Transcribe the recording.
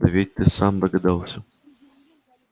да ведь ты сам догадался